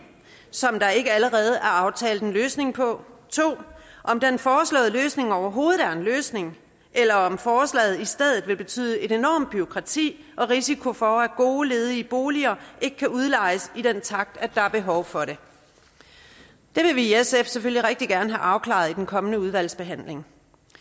som der ikke allerede er aftalt en løsning på og 2 om den foreslåede løsning overhovedet er en løsning eller om forslaget i stedet vil betyde et enormt bureaukrati og risiko for at gode ledige boliger ikke kan udlejes i den takt der er behov for det det vil vi i sf selvfølgelig rigtig gerne have afklaret i den kommende udvalgsbehandling